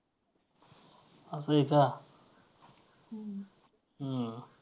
असं आहे का हम्म